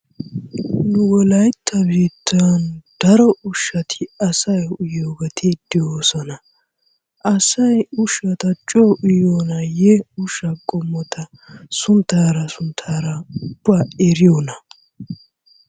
Nu wolaytta biittaan daro ushshati asay uyiyogeeti de'oosona. Asay ushshata coo uyiyonaayye ushsha qommota sunttaara sunttaara ubbaa eriyona?